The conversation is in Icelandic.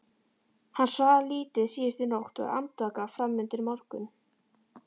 Hann svaf lítið síðustu nótt, var andvaka fram undir morgun.